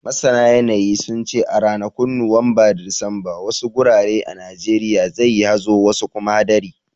Masana yanayi, sun ce a ranakun Nuwamba da Disamba, wasu gurare a Najeriya zai yi hazo wasu kuma hadari.